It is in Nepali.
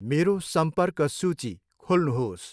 मेरो सम्पर्क सूची खोल्नुहोस्।